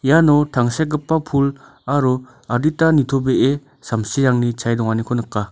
iano tangsekgipa pul aro adita nitobee samsirangni chae donganiko nika.